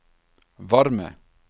varme